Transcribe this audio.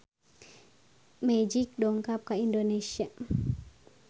Magic dongkap ka Indonesia